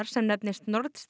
sem nefnist nord